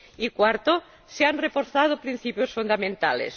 En cuarto lugar, se han reforzado principios fundamentales.